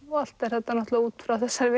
og allt er þetta náttúrulega út frá þessari